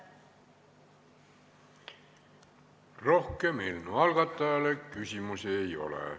Rohkem eelnõu algatajale küsimusi ei ole.